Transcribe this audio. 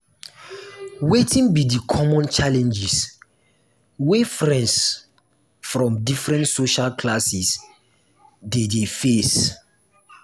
wetin be di common challenges wey friends from different social classes dey dey face?